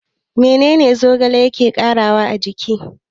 Meye zogale yake ƙarawa a jiki?